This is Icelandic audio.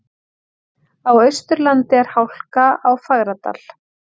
Á Austurlandi er hálka á Fagradal